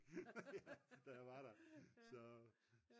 da jeg var der så